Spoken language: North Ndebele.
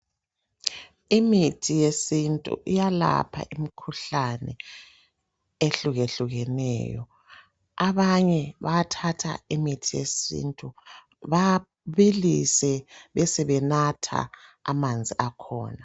Imithi yesintu iyalapha imkhuhlane ehlukehlukeneyo. Abanye bayathatha imithi yesintu babilise besebenatha amanzi akhona.